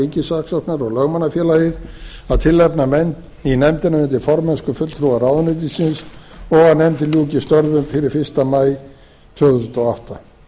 ríkissaksóknara og lögmannafélagið að tilnefna menn í nefndina undir formennsku fulltrúa ráðuneytisins og að nefndin ljúki störfum fyrir fyrsta maí tvö þúsund og átta